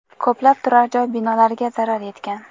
Ko‘plab turar-joy binolariga zarar yetgan.